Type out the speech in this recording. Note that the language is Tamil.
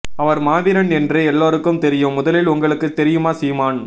அவர் மாவீரன் என்று எல்லாருக்கும் தெரியும் முதலில் உங்களுக்கு தெரியுமா சீமான்